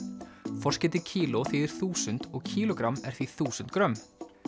forskeytið kíló þýðir þúsund og kílógramm er því þúsund grömm